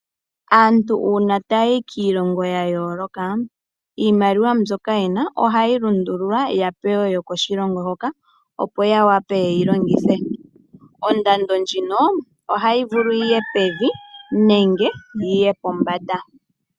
Aantu uuna taya yi kiilonga yayooloka iimaliwa mboka yena ohayi lundululwa yapewe yokoshilongo hoka opo yawape yeke yilongithe. Ondando ndjino ohayi vulu yiye pevi nenge pombanda.